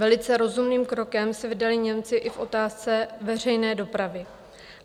Velice rozumným krokem se vydali Němci i v otázce veřejné dopravy.